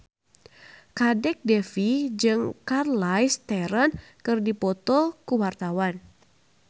Kadek Devi jeung Charlize Theron keur dipoto ku wartawan